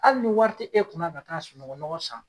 Hali ni wari ti e kun na ka taa sununkun nɔgɔ san